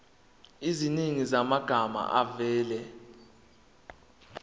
eziningi zamagama avela